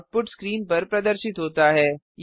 output screen पर प्रदर्शित होता है